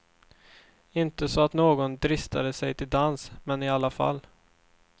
Inte så att någon dristade sig till dans, men i alla fall.